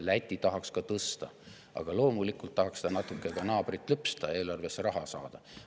Läti tahaks ka tõsta, aga loomulikult tahaks ta natuke ka naabrit lüpsta, eelarvesse raha saada.